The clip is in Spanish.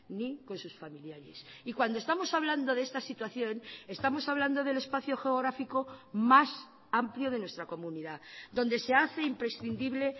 ni con sus familiares y cuando estamos hablando de esta situación estamos hablando del espacio geográfico más amplio de nuestra comunidad donde se hace imprescindible